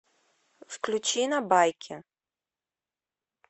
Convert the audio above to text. включи на байке